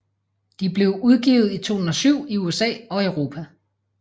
De blev udgivet i 2007 i USA og Europa